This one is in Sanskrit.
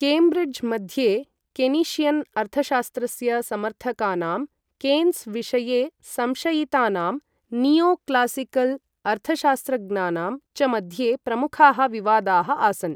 केम्ब्रिड्ज् मध्ये, केनीषियन् अर्थशास्त्रस्य समर्थकानां, केन्स् विषये संशयितानां नियो क्लासिकल् अर्थशास्त्रज्ञानां च मध्ये प्रमुखाः विवादाः आसन्।